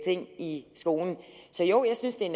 ting i skolen så jo jeg synes det er